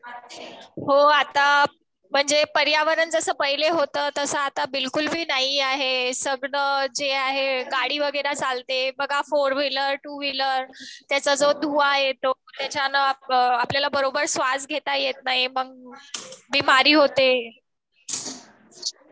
हो आता म्हणजे पर्यावरणजसं पहिले होत तास आता बिलकुल बी नाही आहे. सगळं जे आहे गाडी वगैरे चालते बघा फोर व्हीलर, टू व्हीलर त्याचा जो धुवा येतो त्याच्यानं आपल्याला बरोबर स्वास घेता येत नाही मग बिमारी होते.